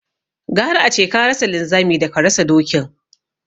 Gara ace ka rasa linzami daka rasa dokin